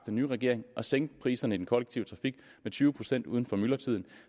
nye regering at sænke priserne i den kollektive trafik med tyve procent uden for myldretiden